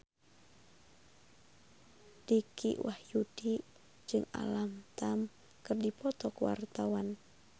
Dicky Wahyudi jeung Alam Tam keur dipoto ku wartawan